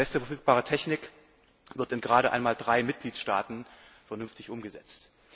Beste verfügbare Technik wird gerade einmal in drei Mitgliedstaaten vernünftig umgesetzt.